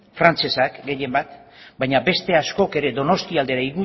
frantsesak gehienbat baina beste askok ere donostialdera